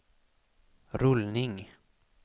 rullning